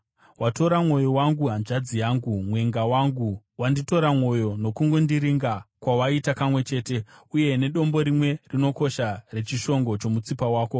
Watora mwoyo wangu hanzvadzi yangu, mwenga wangu; wanditora mwoyo nokungondiringa kwawaita kamwe chete, uye nedombo rimwe rinokosha rechishongo chomutsipa wako.